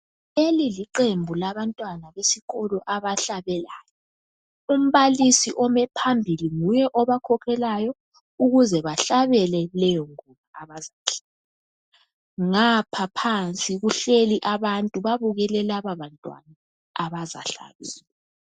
leli liqembu labantwana besikolo abahlabelayo umbalisi ome phambili nguye obakhokhelayo ukuze bahlabele ingoma abazihlabelayo ngapha phansi kuhlezi abantu babukele laba bantwana abazahlabela